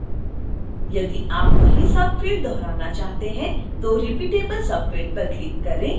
यदि आप वही subfield दोहराना चाहते हैं तो repeatable subfield पर क्लिक करें